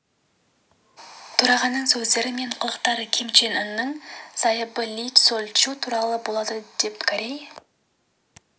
төрағаның сөздері мен қылықтары ким чен ынның зайыбы ли соль чжу туралы болады деп корей